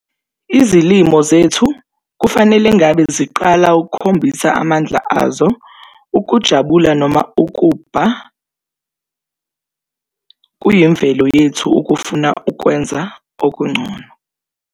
Izilimo zethu kufanele ngabe ziqala ukukhombisa amandla azo, ukujabula noma ukubha, kuyimvelo yethu ukufuna ukwenza okungcono.